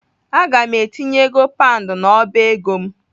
Aga m etinye ego paund n'ọba ego m.